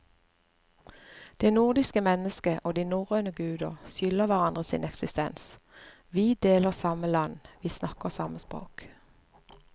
Det nordiske mennesket og de norrøne guder skylder hverandre sin eksistens, vi deler samme land, vi snakker samme språk.